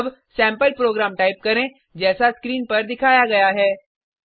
अब sample program type करें जैसा स्क्रीन पर दिखाया गया है